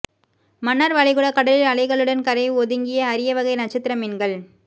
மன்னார் வளைகுடா கடலில் அலைகளுடன் கரை ஒதுங்கிய அரியவகை நட்சத்திர மீன்கள்